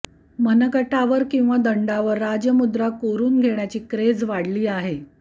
मनगटावर किंवा दंडावर राजमुद्रा कोरून घेण्याची क्रेझ वाढली आहे